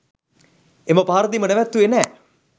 එම පහරදීම නැවැත්තුවේ නෑ.